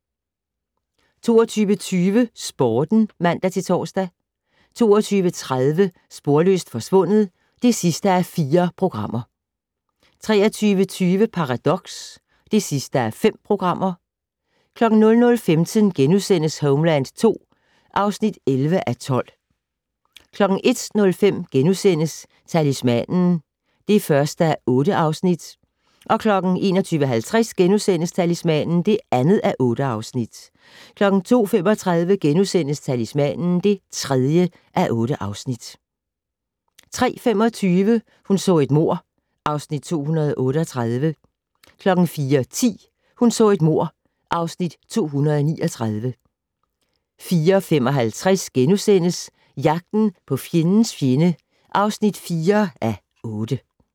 22:20: Sporten (man-tor) 22:30: Sporløst forsvundet (4:4) 23:20: Paradox (5:5) 00:15: Homeland II (11:12)* 01:05: Talismanen (1:8)* 01:50: Talismanen (2:8)* 02:35: Talismanen (3:8)* 03:25: Hun så et mord (Afs. 238) 04:10: Hun så et mord (Afs. 239) 04:55: Jagten på fjendens fjende (4:8)*